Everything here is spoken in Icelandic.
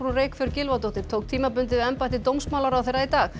Reykfjörð Gylfadóttir tók tímabundið við embætti dómsmálaráðherra í dag